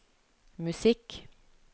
musikk